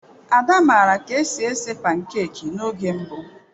Ada maara ka esi esi pankeki n'oge mbụ.